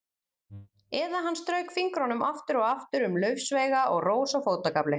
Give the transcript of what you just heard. Eða hann strauk fingrum aftur og aftur um laufsveiga og rós á fótagafli.